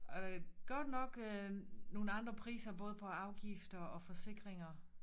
Øh godt nok øh nogle andre priser både på afgifter og forsikringer